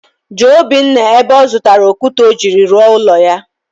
jụọ Obinna ebe ọ zụtara okwute o jiri rụọ ụlọ ya..